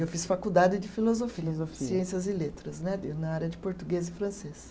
Eu fiz faculdade de filosofia. Filosofia. Ciências e letras né, na área de português e francês.